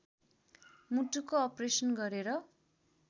मुटुको अप्रेसन गरेर